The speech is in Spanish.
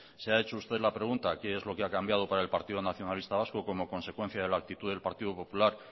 se ha hecho usted la pregunta qué lo que ha cambiado para partido nacionalista vasco como consecuencia de la actitud del partido popular